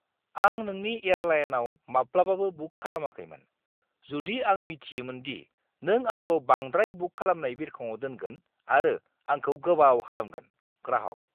आं नोंनि एयारलाइनआव माब्लाबाबो बुक खालामाखैमोन, जुदि आं मिथियोमोन दि नों आंखौ बांद्राय बुक खालामनाय बिरखंआव दोनगोन आरो आंखौ गोबाव खालामगोन। (ग्राहक)